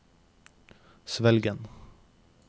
Svelgen